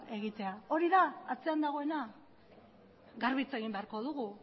egitea hori da atzean dagoena garbi hitz egin beharko dugu